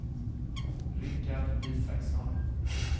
Rikard Isaksson